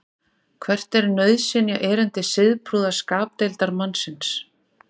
hvert er nauðsynjaerindi siðprúða skapdeildarmannsins